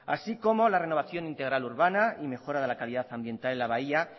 así como la renovación integral urbana y mejora de la calidad ambiental en la bahía